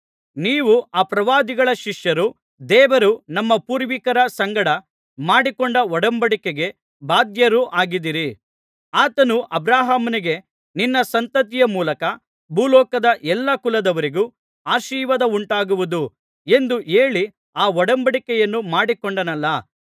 ನೀವು ಆ ಪ್ರವಾದಿಗಳ ಶಿಷ್ಯರು ದೇವರು ನಮ್ಮ ಪೂರ್ವಿಕರ ಸಂಗಡ ಮಾಡಿಕೊಂಡ ಒಡಂಬಡಿಕೆಗೆ ಬಾಧ್ಯರೂ ಆಗಿದ್ದೀರಿ ಆತನು ಅಬ್ರಹಾಮನಿಗೆ ನಿನ್ನ ಸಂತತಿಯ ಮೂಲಕ ಭೂಲೋಕದ ಎಲ್ಲಾ ಕುಲದವರಿಗೂ ಆಶೀರ್ವಾದವುಂಟಾಗುವುದು ಎಂದು ಹೇಳಿ ಆ ಒಡಂಬಡಿಕೆಯನ್ನು ಮಾಡಿಕೊಂಡನಲ್ಲಾ